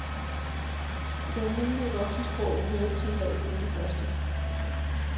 I det almindelige voksensprog hører de som regel kun det første.